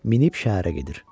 Minib şəhərə gedir.